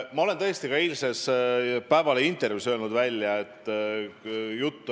Teie küsimus on eeskätt EKRE ja EKRE esimehe kohta.